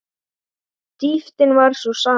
Dýptin var sú sama.